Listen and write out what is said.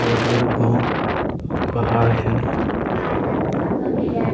भोत बड़ू गों और पहाड़ हें।